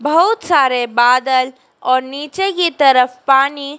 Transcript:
बहुत सारे बादल और नीचे की तरफ पानी--